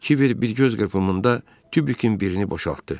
Kiver bir göz qırpımında tubikin birini boşaltdı.